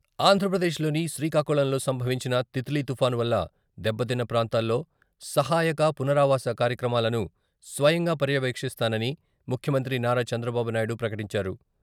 ఆంధ్రప్రదేశ్లోని శ్రీకాకుళంలో సంభవించిన 'తిత్లి'తుపాను వల్ల దెబ్బతిన్న ప్రాంతాల్లో సహాయక, పునరావాస కార్యక్రమాలను స్వయంగా పర్యవేక్షిస్తానని ముఖ్యమంత్రి నారా చంద్రబాబు నాయుడు ప్రకటించారు.